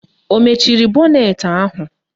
Ọ mechiri bọnetị ahụ?